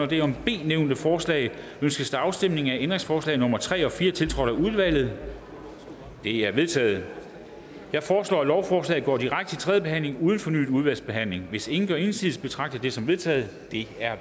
det under b nævnte forslag ønskes der afstemning om ændringsforslag nummer tre og fire tiltrådt af udvalget de er vedtaget jeg foreslår lovforslaget går direkte til tredje behandling uden fornyet udvalgsbehandling hvis ingen gør indsigelse betragter jeg det som vedtaget det er